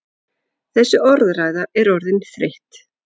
Þessi orðræða er orðin þreytt!